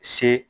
Se